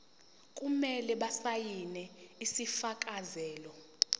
kumele basayine isifakazelo